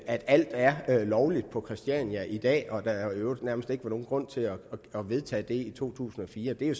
at alt er lovligt på christiania i dag og at der i øvrigt nærmest ikke var nogen grund til at vedtage det i to tusind og fire det er